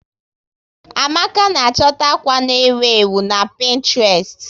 Amaka na a chọta stil akwa nọ n'ewu na Pinetrest